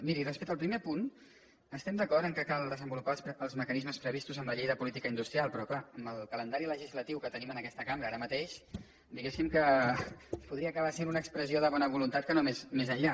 miri respecte al primer punt estem d’acord que cal desenvolupar els mecanismes previstos en la llei de política industrial però clar amb el calendari legislatiu que tenim en aquesta cambra ara mateix diguéssim que podria acabar sent una expressió de bona voluntat que no més enllà